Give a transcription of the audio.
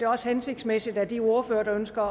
også hensigtsmæssigt at de ordførere der ønsker